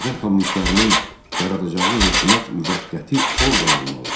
Azərbaycan kommunistlərinin yaradacağı hökumət müvəqqəti orqan olmalı.